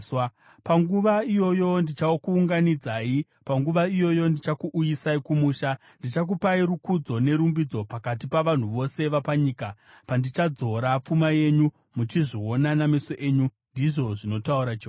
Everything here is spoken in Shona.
Panguva iyoyo ndichakuunganidzai; panguva iyoyo ndichakuuyisai kumusha. Ndichakupai rukudzo nerumbidzo pakati pavanhu vose vapanyika, pandichadzora pfuma yenyu muchizviona nameso enyu,” ndizvo zvinotaura Jehovha.